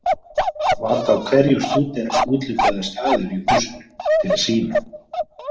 Var þá hverjum stúdent úthlutaður staður í húsinu til að sýna.